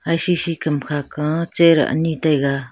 ai shi shi kam kha ka chair ani taiga.